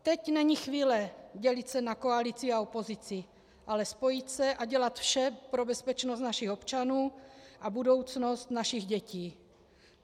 Teď není chvíle dělit se na koalici a opozici, ale spojit se a dělat vše pro bezpečnost našich občanů a budoucnost našich dětí.